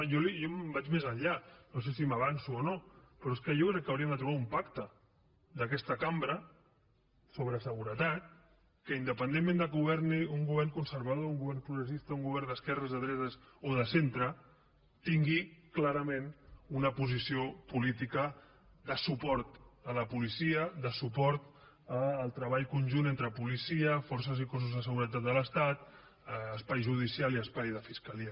jo vaig més enllà no sé si m’avanço o no però jo crec que hauríem de trobar un pacte d’aquesta cambra sobre seguretat que independentment que governi un govern conservador un govern progressista un govern d’esquerres de drets o de centre tingui clarament una posició política de suport a la policia de suport al treball conjunt entre policia forces i cossos de seguretat de l’estat espai judicial i espai de fiscalia